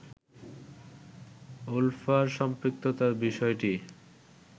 উলফার সম্পৃক্ততার বিষয়টি